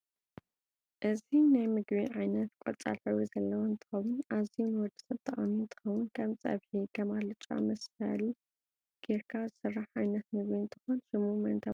እዚናይ ምግቢ ዓይነት ቆፃሊ ሕብሪ ዘለዎ እንትከውን ኣዝዩ ንወድሰብ ጠቃሚ እንትከውን ከም ፀብሒ ክም ኣልጫ መሰሊ ገይርካ ዝስራሕ ዓይነት ምግብ እንትኮን ሽሙ መን ተበሂሉ ይፍለጥ?